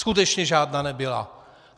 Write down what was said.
Skutečně žádná nebyla.